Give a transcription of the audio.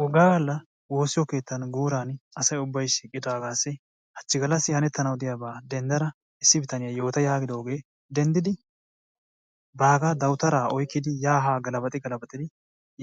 wogaa galla wossiyo keettan guuran asay ubbay shiiqqidasagassi hachchi gallassi hanetanaw diyaaba denddada issi bitanee yaagidooge denddidi baagga dawutara oyqqidi yaa haa galabaxxi galabaxxi